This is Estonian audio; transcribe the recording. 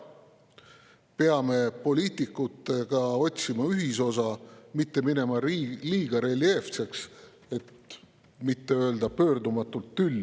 Peame poliitikutena otsima ühisosa, mitte minema liiga reljeefseks, et mitte öelda pöördumatult tülli.